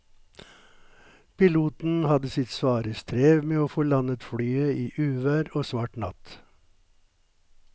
Piloten hadde sitt svare strev med å få landet flyet i uvær og svart natt.